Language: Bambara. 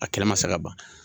A kɛnɛ ma se ka ban